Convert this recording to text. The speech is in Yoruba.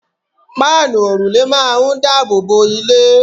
páànù òrùlé máà ń daboobo ilé